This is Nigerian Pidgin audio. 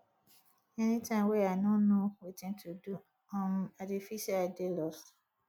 anytime wey i no know wetin to do um i dey feel sey i dey lost